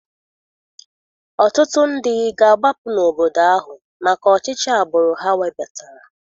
Ọtụtụ ndị ga-agbapụ n'obodo ahụ maka ọchịchị agbụrụ ha webatara.